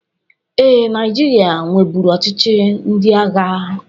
Ee, Naịjirịa nweburu ọchịchị ndị agha.